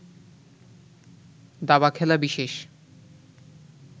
দাবা খেলা বিশেষ